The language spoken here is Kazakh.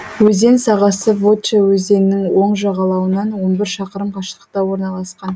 өзен сағасы вотча өзенінің оң жағалауынан он бір шақырым қашықтықта орналасқан